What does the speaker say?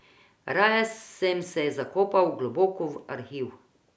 Raje sem se zakopal globoko v Arhiv.